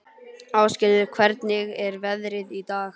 Ásgerður, hvernig er veðrið í dag?